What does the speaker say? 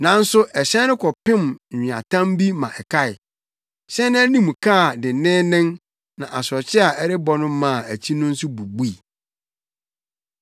Nanso ɛhyɛn no kɔpem nweatam bi ma ɛkae. Hyɛn no anim kaa denneennen na asorɔkye a na ɛrebɔ no maa akyi no nso bubui.